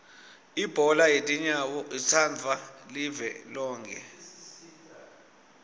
ibhola yetinyawo itsandvwa live lonkhe